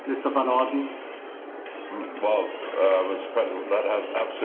That has absolutely nothing to do with the debate in hand.